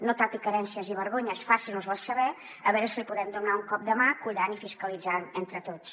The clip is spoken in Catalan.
no tapi carències i vergonyes faci’ns les saber a veure si li podem donar un cop de mà collant i fiscalitzant entre tots